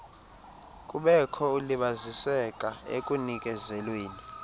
kubekho ukulibaziseka ekunikezelweni